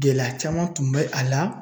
Gɛlɛya caman tun bɛ a la